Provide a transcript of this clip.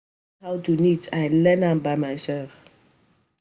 Nobody teach me how to knit I learn am by myself